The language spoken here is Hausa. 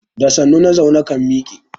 Da sannu na zaune kan miƙe.